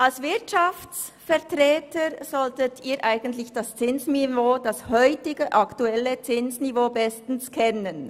Als Wirtschaftsvertreter sollten Sie eigentlich das heutige aktuelle Zinsniveau bestens kennen.